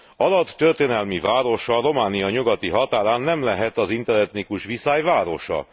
Arad történelmi városa, Románia nyugati határán nem lehet az interetnikus viszály városa!